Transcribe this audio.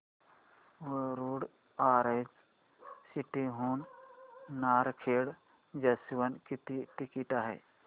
Warud orange city हून Narkhed junction किती ticket आहे